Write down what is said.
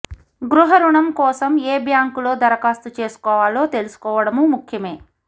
గృహరుణం కోసం ఏ బ్యాంకులో దరఖాస్తు చేసుకోవాలో తెలుసుకోవడమూ ముఖ్యమే